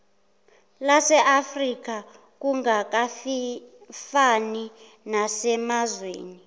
laseafrika kungafani nasemazweni